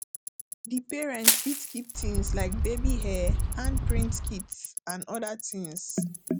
di parent fit keep things like baby hair hand print kits and oda things